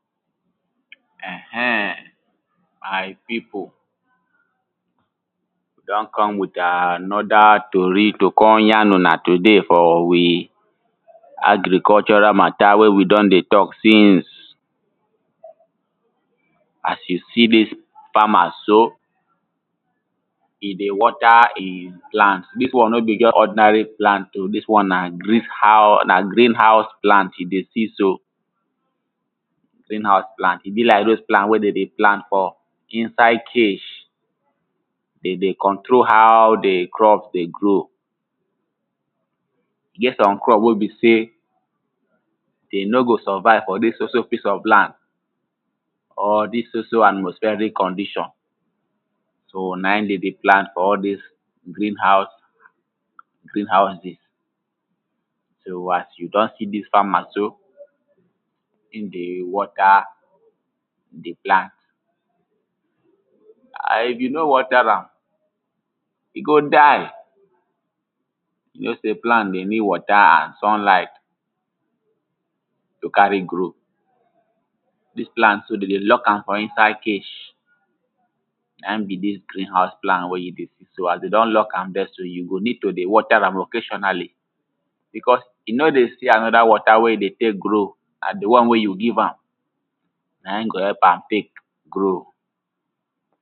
?? ??n ma?i? pi?po? wi? d??n k??m wi?t a?n??da? to?ri? to? ja?n u?na? tu?de? f?? wi? a?grik?????ra? ma?ta? we? wi? d??n de? t??k si?ns a?s ju? si? di?s fa?ma? so? i? de? w??ta? i? pla?nt di?s wa?n no? bi? ???st ??dna?re? pla?nt o? di?s wa?n na? gri?v ha?u? na? gri?n ha?u?s pla?nt ju? de? si? so? gri?n ha?u?s pla?nt i? bi? la?i?k ??l dovz plant we? d??m de? pla?nt f?? i?nsa?i?d ke?? d?? de? k??ntro? ha?u? di? kr??p de? gro? i? g??t s??m kr??p we? bi? se? d?? no? go? s??va?i?v f?? di?s so? so? pi?s ??f la?nd?? di?s so? so? a?tmo?sf??ri?k k??ndi???n so? na? i? d??n de? pla?nt f?? ??l di?s gri?n ha?u?s gri?n ha?u?zi?z so? a?s ju? d??n si? di?s fa?ma? so? i?? de? w??ta? di? pla?nt a?n i?f ju? no? w??ta? ra?m i? go? da?i? ju? no? se? pla?nt de? ni?d w??ta? a?n s??nla?i?t to? ka?re? gro? di?s pla?nt so? d??n de? l??k a?m f?? i?nsa?i?d ke?? na? i?? bil dils gri?n ha?uls pla?nt we? ju? de? si? so? a?s de? d??n l??k a?m di??? so? ju? go? ni?d to? de? w??ta? ra?m o?ke???na?li? bi?k??s i? no? de? si? a?n?da? w??ta? we? i? de? te?k gro? na? di? wa?n we? ju? gi?v a?m na? i?? go? h??p a?m te?k gro? err ehn, my pipo, we don come with another tori to con yarn una today for we agricultural mata wey we don dey talk since. as you see dis farmer so, e dey water e plant, dis one no be just ordinary plant o, dis one na grieve hou, na green house plant you dey see so. green house plant, e be like all dose plant wey dem dey plant for, inside cage, de dey control how the crop dey grow, e get some crop wey be sey, de no go survive for dis so so piece of land, or dis so so atmospheric condition. so na in den dey plant for all dis green house, green houses. so, as you don see dis farmer so, in dey water the plant. and if you no water am e go die, you know sey plant dey need water and sunlight to carry grow, dis plant so, den dey lock am for inside cage, na in be dis green house plant wey you dey see so, as dey don lock am there so, you go need to dey water am occasionally because, e no dey see another water wey e dey take grow, na the one wey you give am na in go help am take grow.